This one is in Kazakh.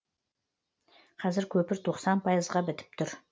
қазір көпір тоқсан пайызға бітіп тұр